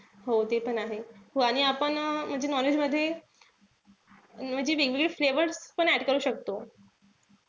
हो तेपण आहे. हो आणि आपण म्हणजे non-veg मध्ये म्हणजे वेगवेगळे flavors पण add करू शकतो.